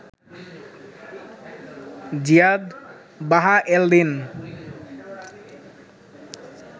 জিয়াদ বাহা এল দিন